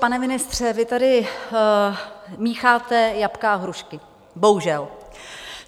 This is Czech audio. Pane ministře, vy tady mícháte jablka a hrušky, bohužel.